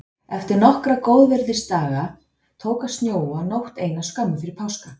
Eftir nokkra góðviðrisdaga tók að snjóa nótt eina skömmu fyrir páska.